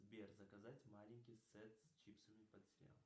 сбер заказать маленький сет с чипсами под сериал